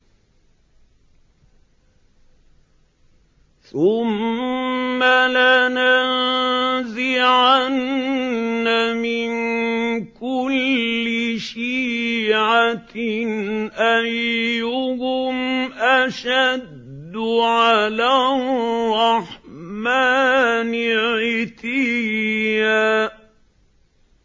ثُمَّ لَنَنزِعَنَّ مِن كُلِّ شِيعَةٍ أَيُّهُمْ أَشَدُّ عَلَى الرَّحْمَٰنِ عِتِيًّا